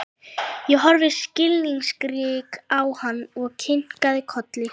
Ég horfði skilningsrík á hann og kinkaði kolli.